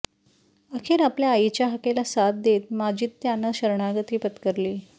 अखेर आपल्या आईच्या हाकेला साद देत माजिद त्यानं शरणागती पत्करली